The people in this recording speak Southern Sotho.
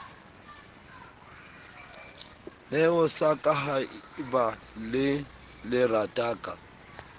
neho sa kahaeba le lerataka